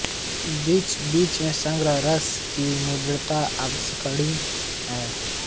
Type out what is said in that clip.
बीचबीच में शृंगार रस की मृदुता अविस्मरणीय है